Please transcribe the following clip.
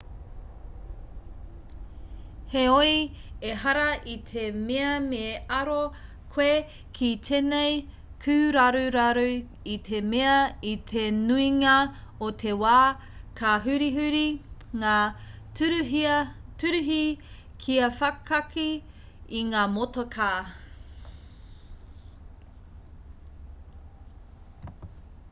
heoi ehara i te mea me aro koe ki tēnei kūraruraru i te mea i te nuinga o te wā ka hurihuri ngā tūruhi kia whakakī i ngā motokā